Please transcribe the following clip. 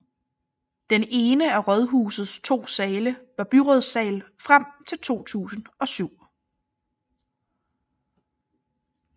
Den ene af rådhusets to sale var byrådssal frem til 2007